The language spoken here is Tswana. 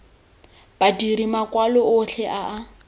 badiri makwalo otlhe a a